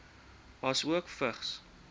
asook vigs